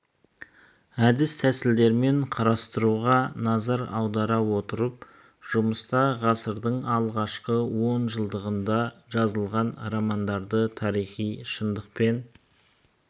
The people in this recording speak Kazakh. әд тәсілдермен қарастыруға назар аудара отырып жұмыста ғасырдың алғашқы он жылдығында жазылған романдарды тарихи шындық пен